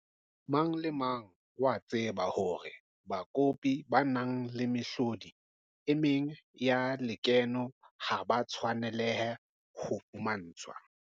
Mang le mang o a tseba hore bakopi ba nang le mehlodi e meng ya lekeno ha ba tshwanelehe ho fumantshwa.